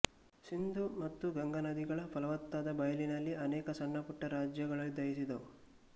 ಸಿಂಧೂ ಮತ್ತು ಗಂಗಾನದಿಗಳ ಫಲವತ್ತಾದ ಬಯಲಿನಲ್ಲಿ ಅನೇಕ ಸಣ್ಣಪುಟ್ಟ ರಾಜ್ಯಗಳುದಯಿಸಿದವು